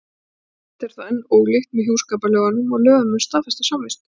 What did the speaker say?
Tvennt er þó enn ólíkt með hjúskaparlögunum og lögum um staðfesta samvist.